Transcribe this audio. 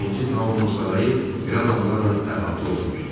Birinci Taonun sarayı belə adamlarla əhatə olunmuşdu.